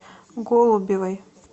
голубевой